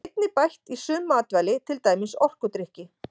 Því er einnig bætt í sum matvæli til dæmis orkudrykki.